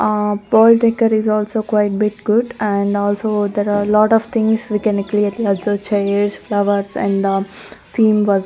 A world taker is also quite bit good and also there are a lot of things we can clearly observe chairs flowers and the theme was--